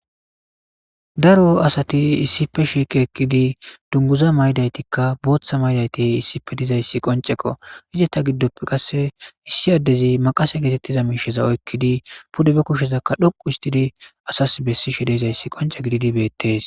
Daro asati issife shiike ekkidi dunguza maydaytikka booththa maydayti issife dizayssi qonceko hijeta giddoppe qasse issi addezi maqase geetettiza miisheza oykkidi pude be kushshezakka dhoqu istidi asas bessi shedezayssi qonce gididi beettees.